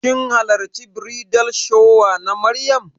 Kin hallarci bridal shower na Maryam?